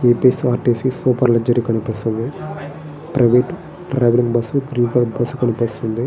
APS RTC super luxury కనిపిస్తుంది. Private bus కనిపిస్తుంది .